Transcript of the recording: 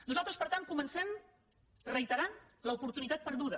nosaltres per tant comencem reiterant l’oportunitat perduda